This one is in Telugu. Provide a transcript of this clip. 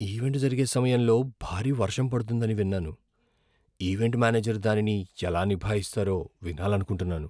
ఈవెంట్ జరిగే సమయంలో భారీ వర్షం పడుతుందని విన్నాను, ఈవెంట్ మేనేజర్ దానిని ఎలా నిభాయిస్తారో వినాలనుకుంటున్నాను.